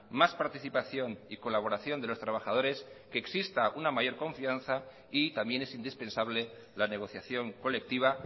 más participación y colaboración de los trabajadores que exista una mayor confianza y también es indispensable la negociación colectiva